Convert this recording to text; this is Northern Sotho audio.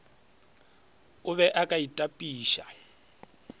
o be o ka itapiša